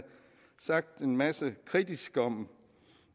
sagt en masse kritisk om